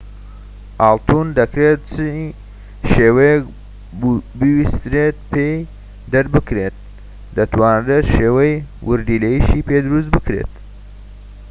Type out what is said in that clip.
ئاڵتون دەکرێت چی شێوەیەك بویسترێت پێی دەربکرێت دەتوانرێت شێوەی وردیلەشی پێ دەربکرێت